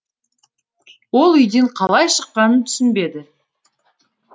ол үйден қалай шыққанын түсінбеді